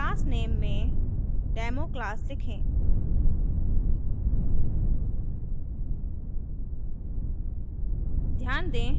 class name में democlass लिखें